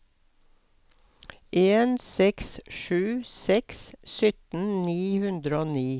en seks sju seks sytten ni hundre og ni